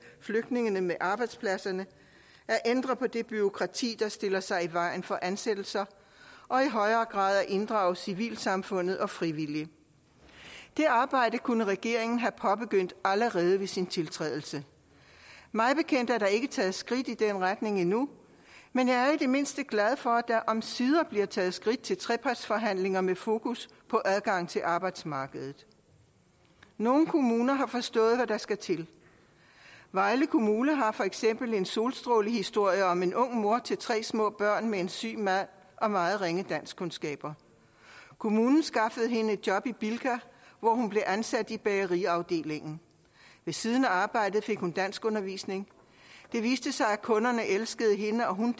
flygtningene med arbejdspladserne ændre på det bureaukrati der stiller sig i vejen for ansættelser og i højere grad inddrage civilsamfundet og frivillige det arbejde kunne regeringen have påbegyndt allerede ved sin tiltrædelse mig bekendt er der ikke taget skridt i den retning endnu men jeg er i det mindste glad for at der omsider bliver taget skridt til trepartsforhandlinger med fokus på adgang til arbejdsmarkedet nogle kommuner har forstået hvad der skal til vejle kommune har for eksempel en solstrålehistorie om en ung mor til tre små børn med en syg mand og meget ringe danskkundskaber kommunen skaffede hende et job i bilka hvor hun blev ansat i bageriet ved siden af arbejdet fik hun danskundervisning det viste sig at kunderne elskede hende og hun